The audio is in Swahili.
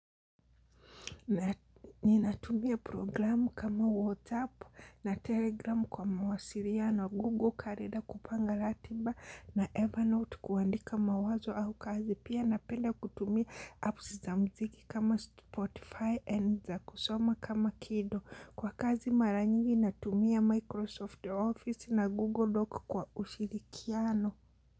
Na ninatumia programu kama WhatsApp na Telegram kwa mawasiriano Google karenda kupanga ratiba na Evernote kuandika mawazo au kazi. Pia napenda kutumia apps za mziki kama Spotify and za kusoma kama Kido. Kwa kazi mara nyingi natumia Microsoft Office na Google Doc kwa ushirikiano.